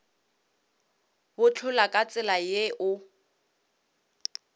bohlola ka tsela ye o